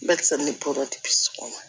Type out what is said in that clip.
Barisa ni ne bɔra la